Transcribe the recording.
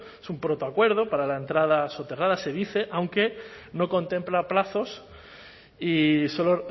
es un protoacuerdo para la entrada soterrada se dice aunque no contempla plazos y solo